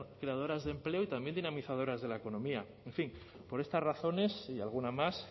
creadoras de empleo y también dinamizadoras de la economía en fin por estas razones y alguna más